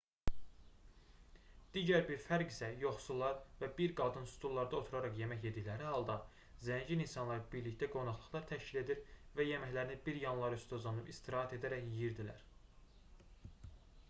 digər bir fərq isə yoxsullar və bir qadın stullarda oturaraq yemək yedikləri halda zəngin insanlar birlikdə qonaqlıqlar təşkil edir və yeməklərini bir yanları üstə uzanıb istirahət edərək yeyirdilər